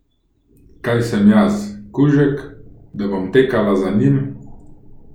Kaj sem jaz, kužek, da bom tekala za njim?